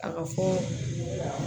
A ka fɔ